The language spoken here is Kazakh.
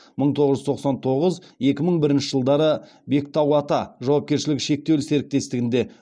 мың тоғыз жүз тоқсан тоғыз екі мың бірінші жылдары бектауата жауапкершілігі шектеулі серіктестігінде